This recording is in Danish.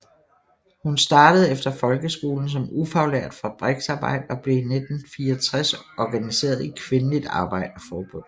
Hun startede efter folkeskolen som ufaglært fabriksarbejder og blev i 1964 organiseret i Kvindeligt Arbejderforbund